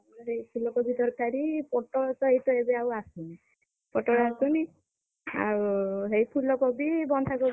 ସେଇ ଫୁଲକୋବି ତରକାରୀ ପୋଟଳ ତ ଏଇତ ଏବେଆଉ ଆସୁନି, ପୋଟଳ ଆସୁନି, ଆଉ ସେଇ ଫୁଲ କୋବି ବନ୍ଧା କୋବି ।